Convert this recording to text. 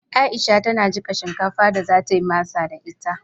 Aisha tana jiƙa shinkafar da za ta yi masa da ita.